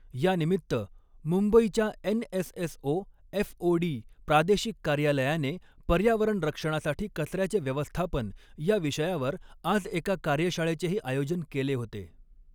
यानिमित्त मुंबईच्या NSSO FOD प्रादेशिक कार्यालयाने पर्यावरण रक्षणासाठी कचऱ्याचे व्यवस्थापन या विषयावर आज एका कार्यशाळेचेही आयोजन केले होते.